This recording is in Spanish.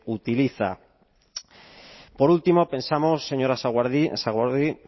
utiliza por último pensamos señor sagardui